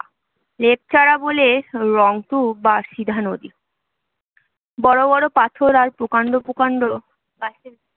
লেপচারা বলে রংতু বা সিধা নদী বড়ো বড়ো পাথর আর প্রকাণ্ড প্রকাণ্ড গাছের